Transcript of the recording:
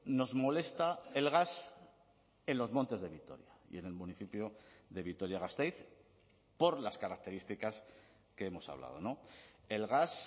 nos molesta el gas en los montes de vitoria y en el municipio de vitoria gasteiz por las características que hemos hablado el gas